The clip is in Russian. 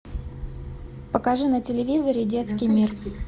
покажи на телевизоре детский мир